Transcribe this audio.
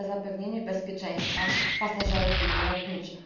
za zapewnienie bezpieczeństwa pasażerów linii lotniczych.